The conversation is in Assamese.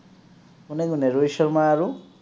কোনে কোনে ৰোহিত শৰ্মা আৰু?